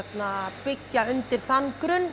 byggja undir þann grunn